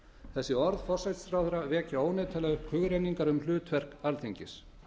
þessi orð forsætisráðherra vekja óneitanlega upp hugrenningar um hlutverk alþingis